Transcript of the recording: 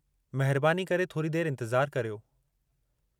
महिरबानी करे थोरी देति इंतिज़ारु करियो।